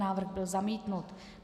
Návrh byl zamítnut.